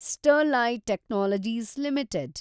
Sterlite technologies limited